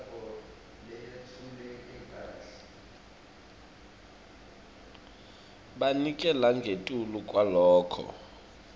banike langetulu kwaloko